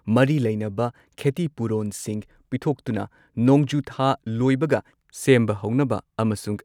ꯃꯔꯤ ꯂꯩꯅꯕ ꯈꯦꯇꯤꯄꯨꯔꯣꯟꯁꯤꯡ ꯄꯤꯊꯣꯛꯇꯨꯅ ꯅꯣꯡꯖꯨ ꯊꯥ ꯂꯣꯏꯕꯒ ꯁꯦꯝꯕ ꯍꯧꯅꯕ ꯑꯃꯁꯨꯡ